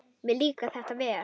Mér líkar þetta vel.